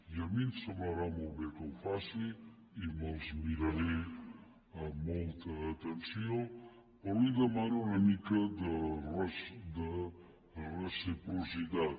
i a mi em semblarà molt bé que ho faci i me’ls miraré amb molta atenció però li demano una mica de reciprocitat